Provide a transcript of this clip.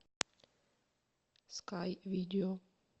скай видео